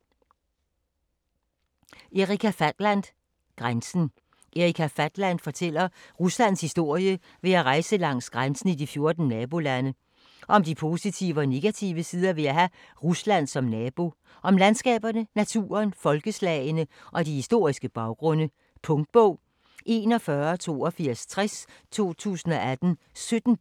Fatland, Erika: Grænsen Erika Fatland fortæller Ruslands historie ved at rejse langs grænsen i de 14 nabolande. Om de positive og negative sider ved at have Rusland som nabo - og om landskaberne, naturen, folkeslagene og de historiske baggrunde. Punktbog 418260 2018. 17 bind.